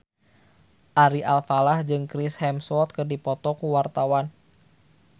Ari Alfalah jeung Chris Hemsworth keur dipoto ku wartawan